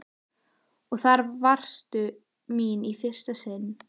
Og þar varðstu mín í fyrsta sinn.